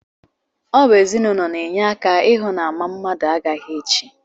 Ọ bụ ezinụlọ na-enye aka ịhụ na ama mmadụ agaghị echi